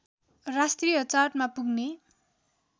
राष्ट्रिय चार्टमा पुग्ने